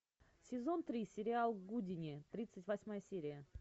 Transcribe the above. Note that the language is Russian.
сезон три сериал гудини тридцать восьмая серия